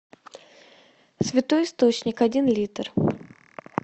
святой источник один литр